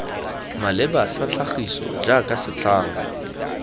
maleba sa tlhagiso jaaka setlhangwa